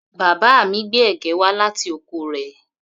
Bàbá mi gbé ẹ̀gẹ́ wá láti oko rẹ̀